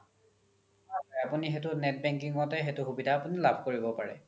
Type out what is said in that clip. হয় হয় আপোনি সেইতো সুবিধা net banking তে লাভ কৰিব পাৰে